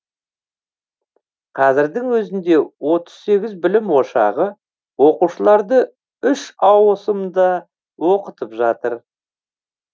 қазірдің өзінде отыз сегіз білім ошағы оқушыларды үш ауысымда оқытып жатыр